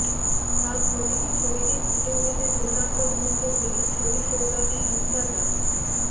তাঁর প্রতিটি ছবিতেই ফুটে উঠেছে দুর্দান্ত মুহূর্তগুলি ছবি সৌজন্যে ইনস্টাগ্রাম